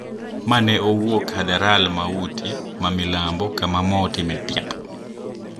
Ma ne owuok Hadharalmauti ma milambo kama mo otime tiap